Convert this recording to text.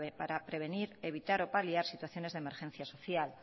para prevenir evitar o paliar situaciones de emergencia social